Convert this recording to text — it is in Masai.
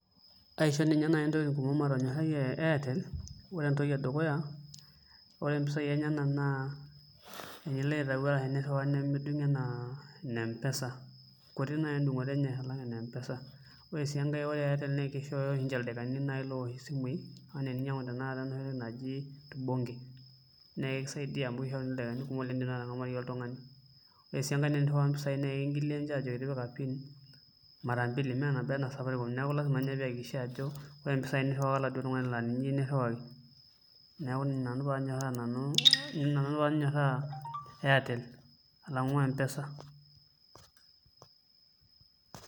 Kaisho ninye naaji ntokitin kumok matorra Airtel ore entoki edukuya ore mpisai enyena naa tinilo aitayu ashuu teniriwaa nemeding anaa ine empesa kuti naaji endung'oto enye alang ene empesa, ore sii enkae naa kishooyo ninche airte ildaikani loosh isimui anaa tininyang'u enatoki naji tubonge, naa ekisaidia amuu itum ildaikani lindim airorie naaji oltung'ani. ore sii teniriwaa iropiyiani naa ekijoki ninche tipika piin mara mbili naa nabo we enda e safaricom neeku lasima nye piiyakikisha ajo ore inaduo pisai niriwaka oladuoo tung'ani laa ninye iyieu nirriwaki neeku ina nanu paagira ajo ina paanyoraa ajo Airtel alang'u empesa.